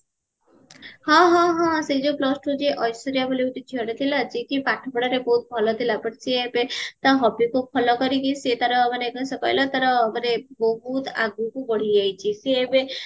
ହଁ ହଁ ହଁ ଷେଇ plus two ଯିଏ ଐଶ୍ଵରିଆ ବୋଲି ଗୋଟେ ଝିଅତେ ଥିଲା ଯେ କି ପାଠ ପଢାରେ ବହୁତ ଭଲ ଥିଲା but ସିଏ ଏବେ ତା hobbyକୁ follow କରିକି ସିଏ ତାର ମାନେ କଣ ସେ ଅଖିଲା ସିଏ ତାର ବହୁତ ଆଗକୁ ବଢିଯାଇଚି ସିଏ ଏବେ